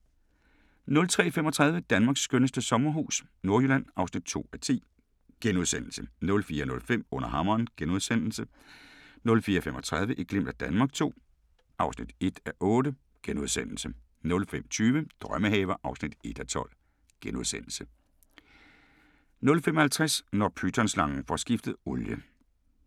03:35: Danmarks skønneste sommerhus – Nordjylland (2:10)* 04:05: Under hammeren * 04:35: Et glimt af Danmark II (1:8)* 05:20: Drømmehaver (1:12)* 05:50: Når pytonslangen får skiftet olie